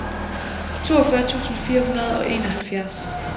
toogfyrre tusind fire hundrede og enoghalvfjerds